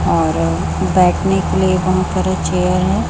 और बैठने के लिए वहां पर चेयर है।